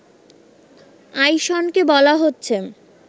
আইসনকে বলা হচ্ছে